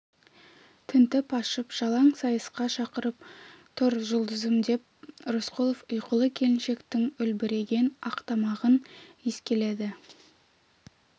тінтіп ашып жалаң сайысқа шақырып тұр жұлдызым деп рысқұлов ұйқылы келіншектің үлбіреген ақтамағын иіскеледі